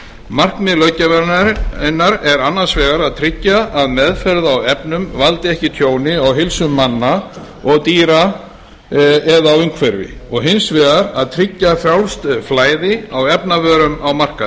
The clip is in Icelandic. markmið löggjafarinnar er annars vegar að tryggja að meðferð á efnum valdi ekki tjóni á heilsu manna og dýra eða á umhverfi og hins vegar að tryggja frjálst flæði á efnavörum á